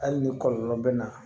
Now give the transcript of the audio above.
Hali ni kɔlɔlɔ bɛ na